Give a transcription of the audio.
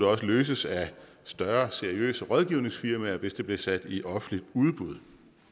også løses af større seriøse rådgivningsfirmaer hvis det bliver sat i offentligt udbud